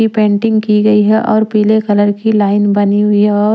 यह पेंटिंग की गई है और पीले कलर की लाइन बनी हुई है और--